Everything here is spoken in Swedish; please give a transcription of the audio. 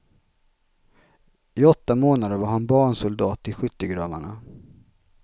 I åtta månader var han barnsoldat i skyttegravarna.